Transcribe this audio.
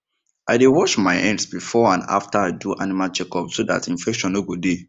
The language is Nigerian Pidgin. i dey wash my hands before and after i do animal checkup so that infection no go dey